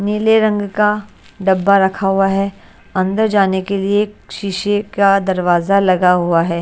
नीले रंग का डब्बा रखा हुआ है अंदर जाने के लिए एक शीशे का दरवाजा लगा हुआ है।